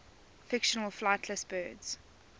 fictional flightless birds